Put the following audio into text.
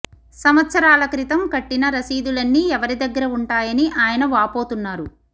సంవత్సరాల క్రితం కట్టిన రశీదులన్నీ ఎవరి దగ్గర ఉంటాయని ఆయన వాపోతున్నారు